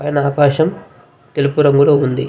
పైన ఆకాశం తెలుపు రంగులో ఉంది.